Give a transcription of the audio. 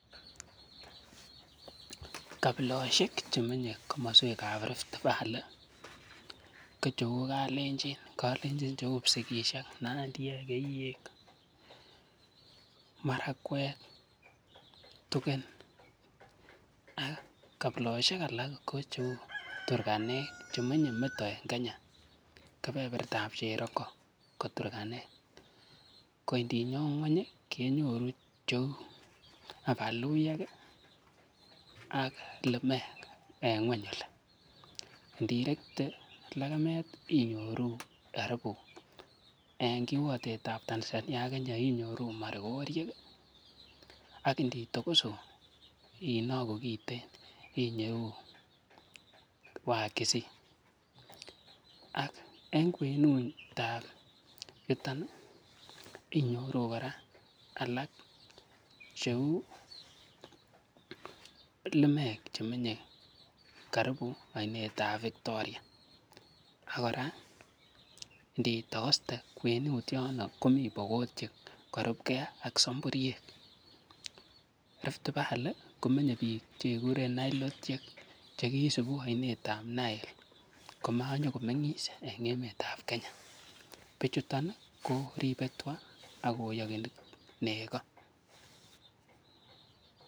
Kapiloshek chemenye komaswekab rift valley ko cheu kalenjin, kalenjin chu psikisyek, nandiek, keyek, marakwek, tugen, ak kapiloshek alak ko cheu turkanek, chemenye me to eng Kenya keberbertab cherongo ko turkanek, ko indinyon ngweny kenyoru cheu aka luyek ak lemek, eng ngweny oli, ndirekt